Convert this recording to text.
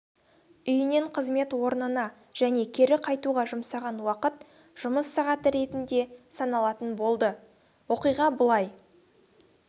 үйінен қызмет орнына және кері қайтуға жұмсаған уақыт жұмыс сағаты ретінде саналатын болды оқиға былай